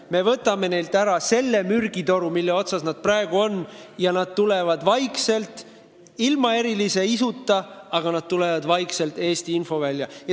Me võtame neilt ära selle mürgitoru, mille otsas nad praegu on, ja nad tulevad vaikselt – ilma erilise isuta, aga nad tulevad – Eesti infovälja.